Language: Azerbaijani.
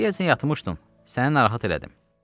Deyəsən yatmışdın, səni narahat elədim.